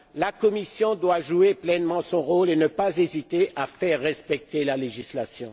La Commission doit jouer pleinement son rôle et ne pas hésiter à faire respecter la législation.